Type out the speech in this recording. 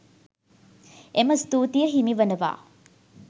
එම ස්තූතිය හිමි වනවා.